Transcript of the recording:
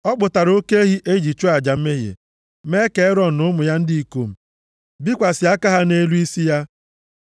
Ọ kpụtara oke ehi e ji achụ aja mmehie, mee ka Erọn na ụmụ ya ndị ikom bikwasị aka ha nʼelu isi ya.